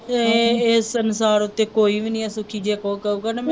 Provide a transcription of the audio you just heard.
ਇਹ ਇਸ ਸੰਸਾਰ ਉੱਤੇ ਕੋਈ ਵੀ ਨਹੀਂ ਹੈ ਸੁਖੀ ਜੇ ਕੋਈ ਕਹੂਗਾ ਨਾ ਮੈਂ